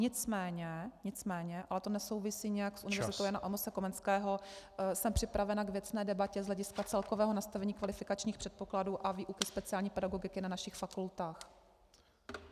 Nicméně, nicméně, ale to nesouvisí nijak s Univerzitou Jana Amose Komenského jsem připravena k věcné debatě z hlediska celkového nastavení kvalifikačních předpokladů a výuky speciální pedagogiky na našich fakultách.